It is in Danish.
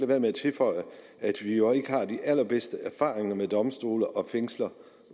være med at tilføje at vi jo ikke har de allerbedste erfaringer med domstole og fængsler